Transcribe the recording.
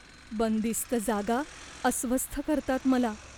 बंदिस्त जागा अस्वस्थ करतात मला.